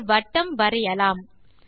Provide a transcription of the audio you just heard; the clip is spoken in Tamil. ஒரு வட்டம் வரையலாம்